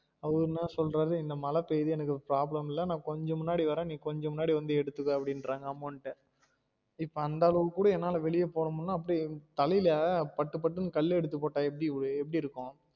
அவரு என்னா சொல்றாரு இந்த மழ பெய்யுது எனக்கு அது problem இல்ல நான் கொஞ்சம் முன்னாடி வாறன் நீ கொஞ்சம் முன்னாடி வந்து எடுத்துக்கோ அப்டிங்குராறு amount அ இப்ப அந்த அளவுக்கு கூட என்னால வெளிய போக முடியலனா தலையில பட்டு பட்டுன்னு கல்லு எடுத்து போட்டா எப்டி எப்டி இருக்கும்